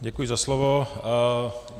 Děkuji za slovo.